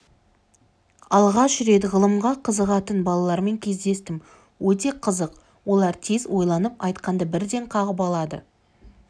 алғаш рет ғылымға қызығатын балалармен кездестім өте қызық олар тез ойланып айтқанды бірден қағып алады